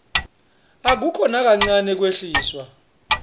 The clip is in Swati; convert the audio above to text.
akukho nakancane kwehliswa